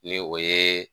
Ni o ye